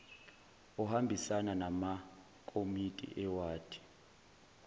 ohambisana namakomiti ewadi